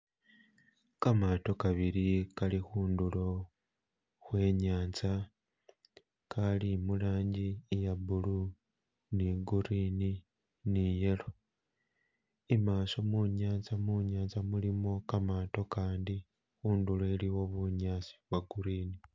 Kamato kabili kali khundulo khwe nyanza, akali murangi iye blue ni green ni yellow , imaso munyanza mulimo kamato kandi, khundulo iliwo bunyasi nwa green.